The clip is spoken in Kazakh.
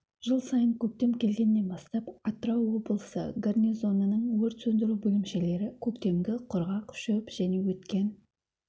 жыл сайын көктем келгеннен бастап атырау облысы гарнизонының өрт сөндіру бөлімшелері көктемгі құрғақ шөп және өткен